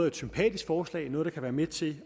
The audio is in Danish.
et sympatisk forslag og noget der kan være med til